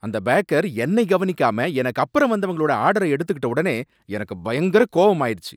அந்த பேக்கர் என்னை கவனிக்காம எனக்கு அப்பறம் வந்தவங்களோட ஆர்டர எடுத்துகிட்ட ஒடனே எனக்கு பயங்கர கோவமாயிருச்சி.